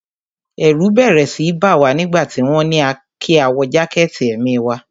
Ẹ̀rù bẹ́rẹ́ síi bá wa nígbà tí wọ́n ní kí a wọ jákẹ̀tì èmi wa.